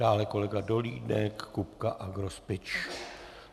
Dále kolega Dolínek, Kupka a Grospič.